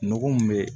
Nɔgɔ mun be